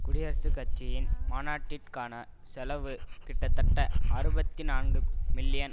குடியரசுக் கட்சியின் மாநாட்டிற்கான செலவு கிட்டத்தட்ட அறுபத்தி நான்கு மில்லியன்